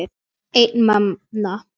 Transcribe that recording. Einn manna!